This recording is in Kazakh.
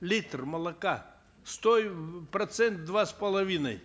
литр молока процент два с половиной